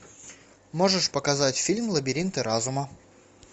можешь показать фильм лабиринты разума